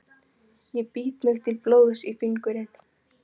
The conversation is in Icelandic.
Ég bít mig til blóðs í fingurinn.